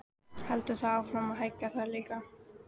Heldur það áfram að hækka þar líka?